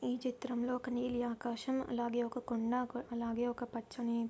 ఈ చిత్రంలో ఒక నీలి ఆకాశం అలాగే ఒక కొండ అలాగే ఒక పచ్చని--